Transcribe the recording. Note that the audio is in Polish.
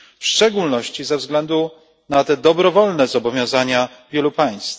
w szczególności ze względu na te dobrowolne zobowiązania wielu państw.